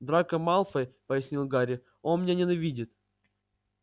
драко малфой пояснил гарри он меня ненавидит